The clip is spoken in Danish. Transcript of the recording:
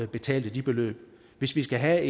betalte de beløb hvis vi skal have